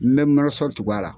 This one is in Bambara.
N bɛ tugu a la.